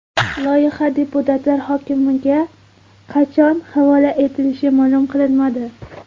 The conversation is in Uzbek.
Loyiha deputatlar hukmiga qachon havola etilishi ma’lum qilinmadi.